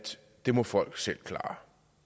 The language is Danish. det må folk selv klare